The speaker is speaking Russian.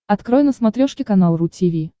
открой на смотрешке канал ру ти ви